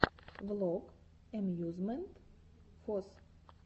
влог эмьюзмент фос